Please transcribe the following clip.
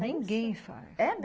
Ninguém faz. É mes